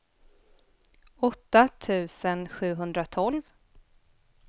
åtta tusen sjuhundratolv